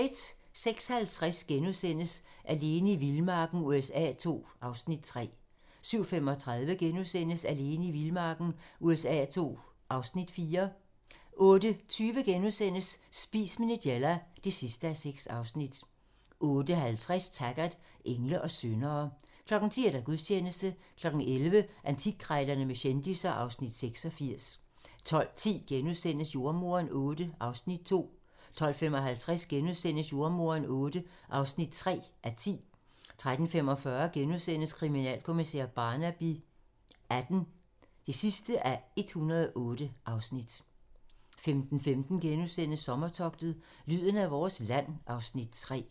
06:50: Alene i vildmarken USA II (Afs. 3)* 07:35: Alene i vildmarken USA II (Afs. 4)* 08:20: Spis med Nigella (6:6)* 08:50: Taggart: Engle og syndere 10:00: Gudstjeneste 11:00: Antikkrejlerne med kendisser (Afs. 86) 12:10: Jordemoderen VIII (2:10)* 12:55: Jordemoderen VIII (3:10)* 13:45: Kriminalkommissær Barnaby XVIII (108:108)* 15:15: Sommertogtet - lyden af vores land (Afs. 3)*